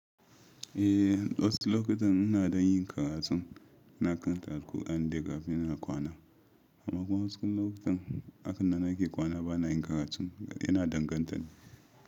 Eh wasu lokutan ina dan yin karatu na karanta alkurani dai kafin ina kwana, amma kuma wasu lokutan hakanan nake kwana bana yin karatu ina danganta ne.